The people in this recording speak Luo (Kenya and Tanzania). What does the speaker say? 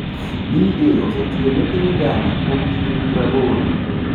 BA osetiyo ne piny Ghana kuom higni praboro.